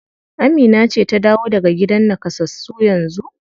Amina ce ta dawo daga gidan nakasassu yanzu?